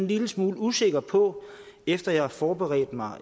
lille smule usikker på efter at jeg har forberedt mig